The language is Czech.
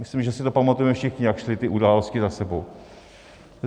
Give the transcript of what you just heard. Myslím, že si to pamatujeme všichni, jak šly ty události za sebou.